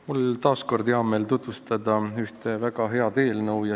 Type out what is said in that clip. Mul on taas hea meel tutvustada ühte väga head eelnõu.